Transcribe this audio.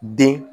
Den